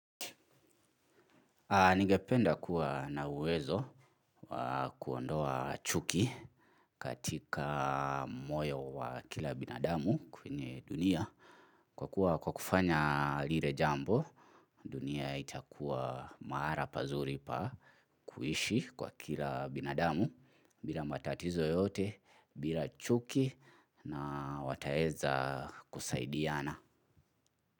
Ningependa kuwa na uwezo wa kuondoa chuki katika moyo wa kila binadamu kwenye dunia. Kwa kuwa kwa kufanya lile jambo dunia itakuwa mahali pazuri pa kuishi kwa kila binadamu bila matatizo yoyote bila chuki na wataweza kusaidiana.